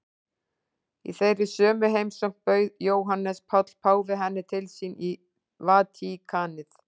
Í þeirri sömu heimsókn bauð Jóhannes Páll páfi henni til sín í Vatíkanið.